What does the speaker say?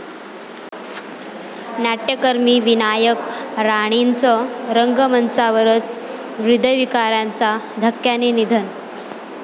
नाट्यकर्मी विनायक राणेंचं रंगमंचावरच हृदयविकाराच्या धक्क्याने निधन